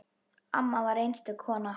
Amma var einstök kona.